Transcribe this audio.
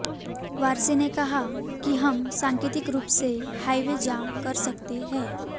वारसी ने कहा कि हम सांकेतिक रूप से हाईवे जाम कर सकते हैं